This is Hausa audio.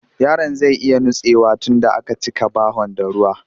Yaron zai iya nutsewa tunda a ka cika bahon da ruwa